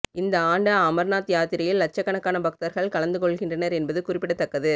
இந்த ஆண்டு அமர்நாத் யாத்திரையில் லட்சக்கணக்கான பக்தர்கள் கலந்துக் கொள்கின்றனர் என்பது குறிப்பிடத்தக்கது